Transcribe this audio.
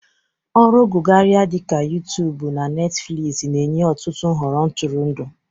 Ọrụ gụgharia dị ka Yụụtuubụ na Netifiliizi na-enye ọtụtụ nhọrọ ntụrụndụ.